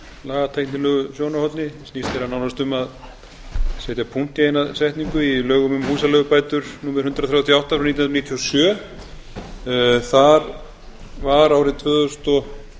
lagatæknilegu sjónarhorni snýst eiginlega nánast um að setja punkt í eina setningu í lögum um húsaleigubætur númer hundrað þrjátíu og átta nítján hundruð níutíu og sjö þar var árið tvö þúsund og